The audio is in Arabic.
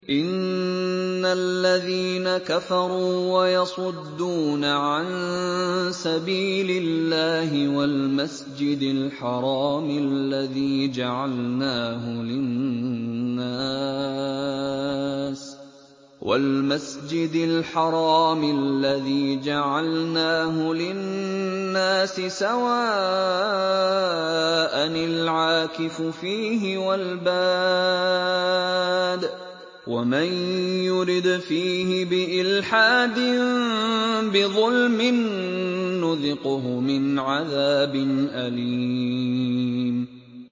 إِنَّ الَّذِينَ كَفَرُوا وَيَصُدُّونَ عَن سَبِيلِ اللَّهِ وَالْمَسْجِدِ الْحَرَامِ الَّذِي جَعَلْنَاهُ لِلنَّاسِ سَوَاءً الْعَاكِفُ فِيهِ وَالْبَادِ ۚ وَمَن يُرِدْ فِيهِ بِإِلْحَادٍ بِظُلْمٍ نُّذِقْهُ مِنْ عَذَابٍ أَلِيمٍ